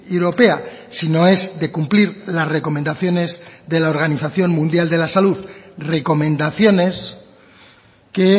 europea si no es de cumplir las recomendaciones de la organización mundial de la salud recomendaciones que